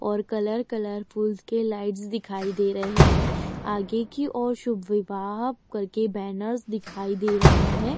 और colour colourfuls के lights दिखाई दे रही है आगे की और शुभ विवाह करके बैनर्स दिखाई दे रहा है।